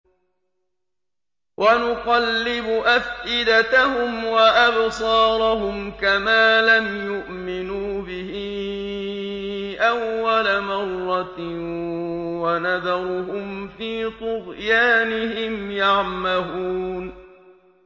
وَنُقَلِّبُ أَفْئِدَتَهُمْ وَأَبْصَارَهُمْ كَمَا لَمْ يُؤْمِنُوا بِهِ أَوَّلَ مَرَّةٍ وَنَذَرُهُمْ فِي طُغْيَانِهِمْ يَعْمَهُونَ